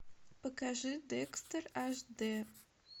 покажи декстер аш д